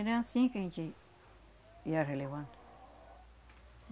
Era anssim que a gente ia relevando.